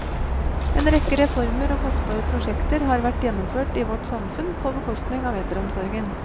En rekke reformer og kostbare prosjekter har vært gjennomført i vårt samfunn på bekostning av eldreomsorgen.